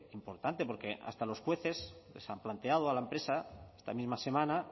importante porque hasta los jueces les han planteado a la empresa esta misma semana